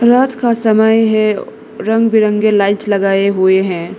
रात का समय है रंग बिरंगे लाइट्स लगाए हुए हैं।